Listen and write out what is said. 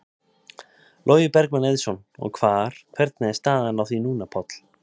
Logi Bergmann Eiðsson: Og hvar, hvernig er staðan á því núna, Páll?